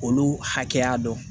Olu hakɛya dɔn